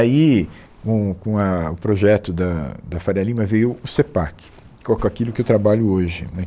Aí, com o com a o projeto da da Faria Lima, veio o CEPAC, com com aquilo que eu trabalho hoje, né